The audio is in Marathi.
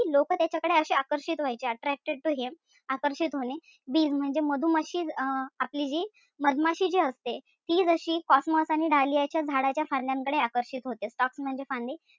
की लोक त्याच्याकडे अशे आकर्षित व्हायचे. Attracted to him आकर्षित होणे bees म्हणजे मधुमाशी अं आपली जी मधमाशी जी असते ती जशी cosmos and dahlia झाडांचा फांद्यांकडे आकर्षित होते. Stalks म्हणजे फांदी.